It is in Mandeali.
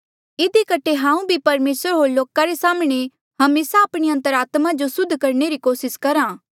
इधी कठे हांऊँ भी परमेसर होर लोका रे साम्हणें हमेसा आपणी अंतरात्मा जो सुद्ध रखणे री कोसिस करहा